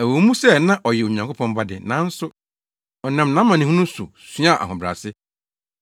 Ɛwɔ mu sɛ na ɔyɛ Onyankopɔn Ba de, nanso ɔnam nʼamanehunu so suaa ahobrɛase.